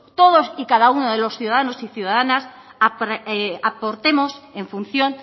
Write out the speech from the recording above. todos y cada uno de los ciudadanos y ciudadanas aportemos en función